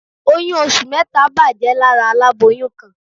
Oyún oṣù mẹ́ta bàjẹ́ lára aláboyún kan